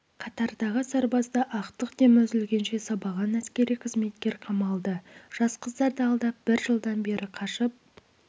қатардағы сарбазды ақтық демі үзілгенше сабаған әскери қызметкер қамалды жас қыздарды алдап бір жылдан бері қашып